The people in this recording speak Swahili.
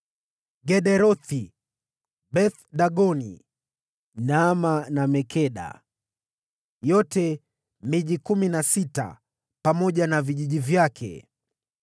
Gederothi, Beth-Dagoni, Naama na Makeda; yote ni miji kumi na sita pamoja na vijiji vyake.